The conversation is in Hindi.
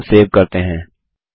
अब फॉर्म सेव करते हैं